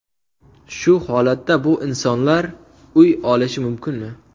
Shu holatda bu insonlar uy olishi mumkinmi.